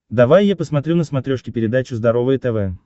давай я посмотрю на смотрешке передачу здоровое тв